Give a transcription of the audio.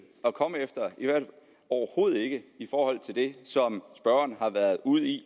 at komme efter i forhold til det som spørgeren har været ude i